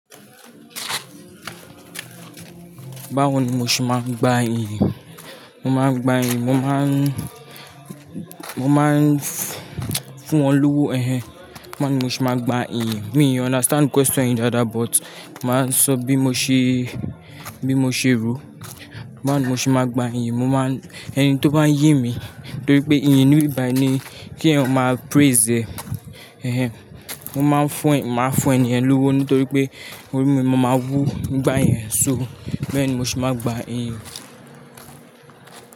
Báwo ni mo ṣe máa ń gba iyì? Mo máa ń gba iyì, mo máa ń, mo máa ń fún wọn lówó, ẹnhẹn. Báwo ni mo ṣe máa gba ìyìn? Me o understand question yí daadaa but máa sọ bí mo ṣe, bí mo ṣe rò. Báwo ni mo ṣe máa gba iyì? Mo máa ń, ẹni tí ó bá ń yín mi nítorí pé iyìn níbí bàyí ni kí ẹèyàn máa praise ẹ. Ẹnhẹn. Mo máa ń fún, máa fún ènìyàn lówó nítorí pé orí mi, mo máa wu igba yẹn. So báwo ni mo ṣe máa gba iyì?